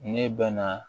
Ne bɛ na